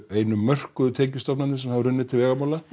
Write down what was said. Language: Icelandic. einu mörkuðu tekjustofnir sem hafa runnið til vegamála